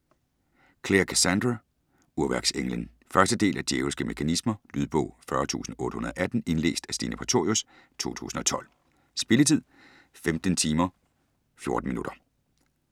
Clare, Cassandra: Urværksenglen 1. del af Djævelske mekanismer. Lydbog 40818 Indlæst af Stine Prætorius, 2012. Spilletid: 15 timer, 14 minutter.